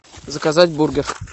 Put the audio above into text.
заказать бургер